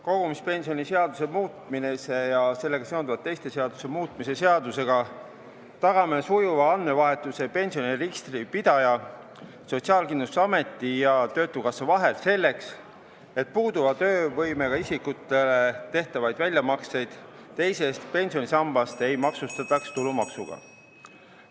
Kogumispensionide seaduse muutmise ja sellega seonduvalt teiste seaduste muutmise seadusega tagame sujuva andmevahetuse pensioniregistri pidaja, Sotsiaalkindlustusameti ja Töötukassa vahel selleks, et puuduva töövõimega isikutele tehtavaid väljamakseid teisest pensionisambast ei maksustataks tulumaksuga.